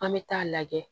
An bɛ taa lajɛ